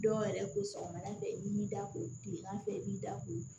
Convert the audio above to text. Dɔw yɛrɛ ko sɔgɔmada fɛ i b'i da ko kilegan fɛ i b'i da ko